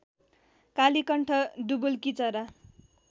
कालीकण्ठ डुबुल्कीचरा